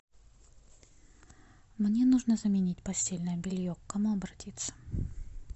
мне нужно заменить постельное белье к кому обратиться